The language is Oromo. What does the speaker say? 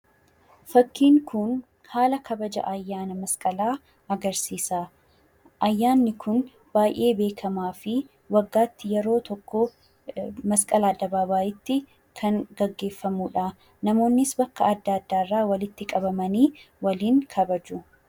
Fakkiin kun haala kabaja ayyaana masqalaa agarsiisa. Ayyaanni kun ayyaana baay'ee beekamaa fi waggaatti yeroo tokkoof masqal addabaabayiitti gaggeeffamudha. Namoonnis bakka adda addaarraa walitti qabamanii waliin kabaju.